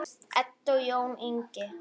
Edda og Jón Ingi.